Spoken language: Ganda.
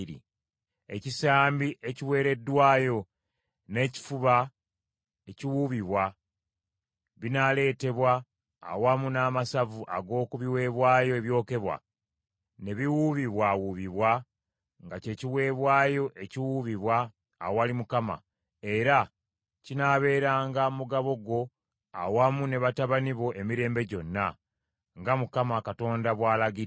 Ekisambi ekiweereddwayo n’ekifuba ekiwuubibwa, binaaleetebwa awamu n’amasavu ag’oku biweebwayo ebyokebwa, ne biwuubibwawuubibwa nga kye kiweebwayo ekiwuubibwa awali Mukama , era kinaabeeranga mugabo gwo awamu ne batabani bo emirembe gyonna; nga Mukama Katonda bw’alagidde.”